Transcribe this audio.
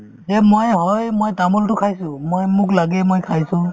যে ময়ে হয় মই তামোলতো খাইছো মই মোক লাগেই মই খাইছো